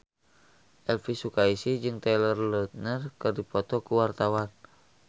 Elvy Sukaesih jeung Taylor Lautner keur dipoto ku wartawan